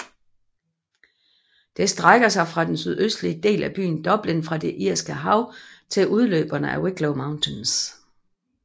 Det strækker sig fra den sydøstlige del af byen Dublin fra det Irske Hav til udløberne af Wicklow Mountains